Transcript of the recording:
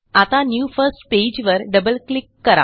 आता new first pageवर double click करा